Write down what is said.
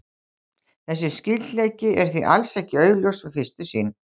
Þessi skyldleiki er því alls ekki augljós við fyrstu sýn.